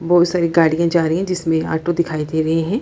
बहुत सारी गाड़ियां जा रही है जिसमे ऑटो दिखाई दे रहे है।